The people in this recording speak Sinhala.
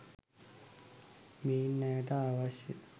මෙයින් ඇයට අවශ්‍ය